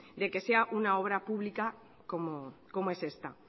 de que sea una obra pública como es esta